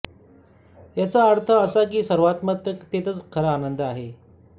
याचाच अर्थ असा की सर्वात्मकतेतच खरा आनंद आहे